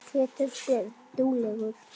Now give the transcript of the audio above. Pétur Björn.